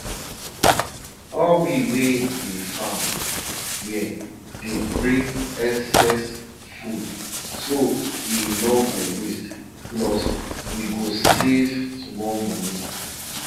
people wey dey tell story talk sey ancestral chant fit heal soil wey don spoil because dem dey dig am anyhow